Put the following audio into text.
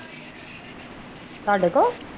ਤੁਹਾਡੇ ਕੋਲੋਂ